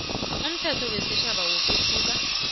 umthetho wesitjhaba wokwehluka